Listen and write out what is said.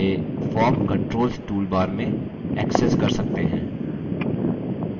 इसे form controls toolbar में accessed कर सकते हैं